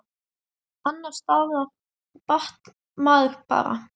Annars staðnar maður bara.